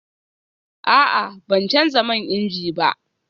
A'a, ban canza man inji ba